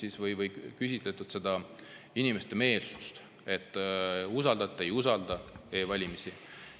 Iga aasta on uuritud inimeste meelsust, kas nad usaldavad või ei usalda e-valimisi.